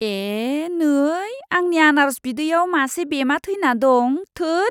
ए, नै! आंनि आनारस बिदैयाव मासे बेमा थैना दं, थोद!